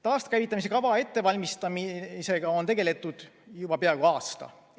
Taaskäivitamise kava ettevalmistamisega on tegeletud juba peaaegu aasta.